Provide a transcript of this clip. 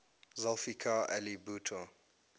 zulfikar ali bhutto